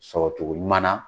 Sɔrɔ cogo ɲuman na